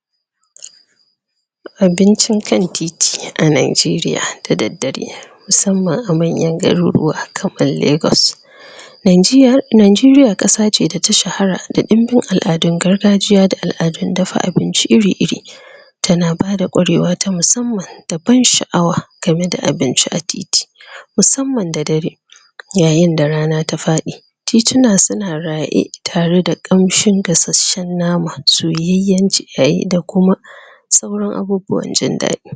? Abincin kan titi, a Nigeria, da daddare,? musamman a manyan garuruwa, kamar Lagos.? Nigeria, Nigeria kasa ce da ta shahara, da ɗinbin al'adun gargajiya, da al'adun dafa abinci iri-iri? tana bada ƙwarewa ta musamman, da ban sha'awa, game da abinci a titi,? musamman da dare,? yayin da rana ta faɗi,? tituna su na raye, tare da kamshin gasashshen nama, soyayyan. Yayin da kuma,? da sauran abubuwan jin daɗi.?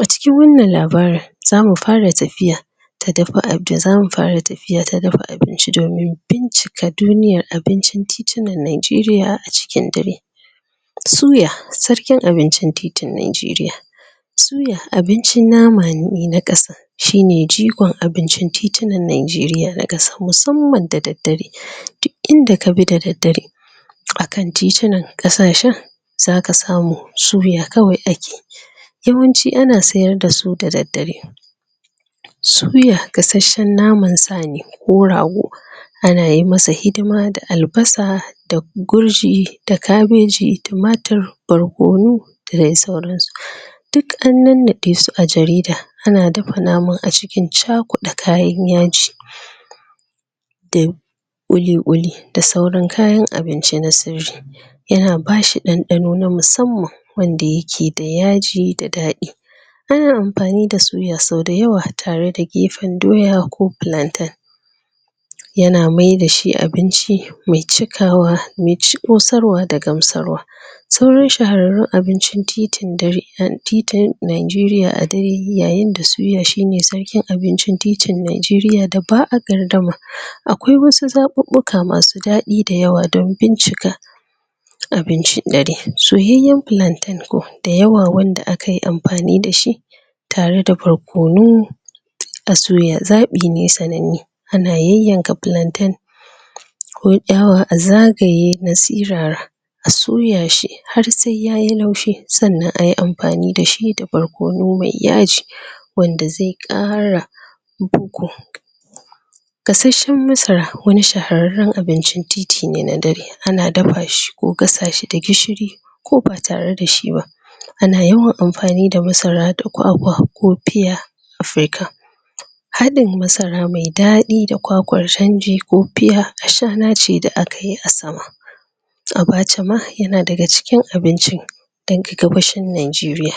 A cikin wannan labarin, zamu fara tafiya,? ta dafa abin, da zamu fara tafiya ta dafa abinci domin, bincika doniyar abincin titunan Nigeria a cikin dare.? Suya, sarkin abincin titin Nigeria,? suya abincin nama ne na kasar,? shine jigon abincin titunan Nigeria na kasa musamman da daddare,? duk inda ka bi da daddare,? a kan titunan, kasashen,? zaka samu, suya kawai a ke,? yawanci ana sayar da su da daddare,? suya gasasshen nama sa ne, ko rago,? a na masa hidima da albasa, da gurji, da kabeji, tumatur, barkono,? da dai sauran su,? duk an nannaɗe su a jarida, ana dafa naman acikin cakuɗa kayan yaji,? ƙuli-ƙuli, da sauran kayan abinci na sirri,? yana bashi ɗanɗano na musamman,? wanda ya ke da yaji da daɗi.? Ana amfani da suya sau da yawa, tare da gefen doya ko plantain,? yana maida shi abinci, mai cikawa, mai ci, ƙosarwa da gamsarwa.? Sauran shahararrun abincin titin dare,? titin, Nigeria a dare, yayin da suya shi ne sarkin abincin titin Nigeria da ba'a gardama.? Akwai wasu zaɓuɓɓuka masu ɗaɗi da yawa dan bincika,? abincin dare, soyayyan plantain ko, da yawa wanda akayi amfani da shi,? tare da barkono, a suya, zaɓi ne sananne,? ana yayyaka platain,? kun ki hawa a zagaye na sirara,? a soya shi, har sai yayi laushi, sannan ayi amfani da shi da barkono mai yaji,? wanda zai ƙara,? Gasasshen masara, wani shahararran abincin titi ne na dare, ana dafa shi ko, ko gasa shi da gishiri,? ko ba tare da shi ba,? a na yawan amfani da masara da kwakwa, ko pia,? haɗin masara mai daɗi da kwakwar canji, ko pia, ashana ce da a kayi a sama.? Abaca ma yana daga cikin abincin,? dan gabashin Nigeria.?